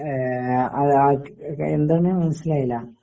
ആ എന്താണ് മനസ്സിലായില്ല.